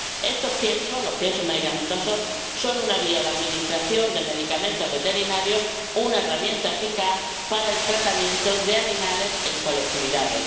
Estos piensos —los piensos medicamentosos— son una vía de administración de medicamentos veterinarios, una herramienta eficaz para el tratamiento de animales en colectividades.